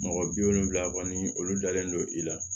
Mɔgɔ bi wolonfila kɔni olu dalen don i la